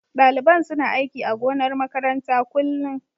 Daliban suna aiki a gonar makaranta kullun.